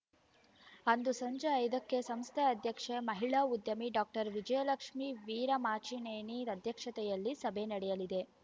ಅಂದು ಸಂಜೆ ಐದಕ್ಕೆ ಸಂಸ್ಥೆ ಅಧ್ಯಕ್ಷೆ ಮಹಿಳಾ ಉದ್ಯಮಿ ಡಾಕ್ಟರ್ ವಿಜಯಲಕ್ಷ್ಮೀ ವೀರಮಾಚಿನೇನಿ ಅಧ್ಯಕ್ಷತೆಯಲ್ಲಿ ಸಭೆ ನಡೆಯಲಿದೆ